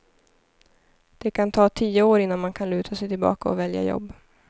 Det kan ta tio år innan man kan luta sig tillbaka och välja jobb.